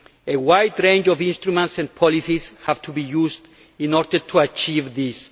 A wide range of instruments and policies have to be used in order to achieve this.